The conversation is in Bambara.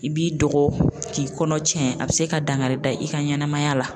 I b'i dɔgɔ k'i kɔnɔ tiɲɛ a be se ka dankari da i ka ɲɛnamaya la